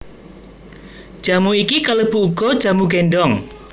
Jamu iki kalebu uga jamu gendong